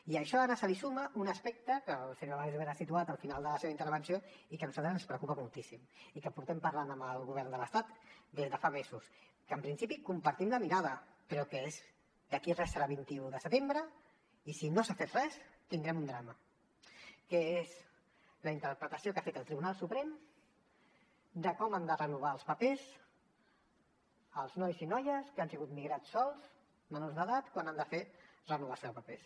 i a això ara se li suma un aspecte que el senyor wagensberg ha situat al final de la seva intervenció i que a nosaltres ens preocupa moltíssim i que portem parlant amb el govern de l’estat des de fa mesos que en principi compartim la mirada però que és d’aquí a res serà vint un de setembre i si no s’ha fet res tindrem un drama la interpretació que ha fet el tribunal suprem de com han de renovar els papers els nois i noies que han sigut migrats sols menors d’edat quan han de fer renovació de papers